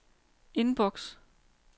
inbox